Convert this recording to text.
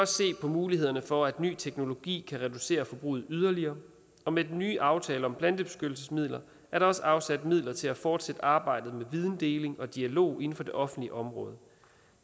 se på mulighederne for at ny teknologi kan reducere forbruget yderligere og med den nye aftale om plantebeskyttelsesmidler er der også afsat midler til at fortsætte arbejdet med videndeling og dialog inden for det offentlige område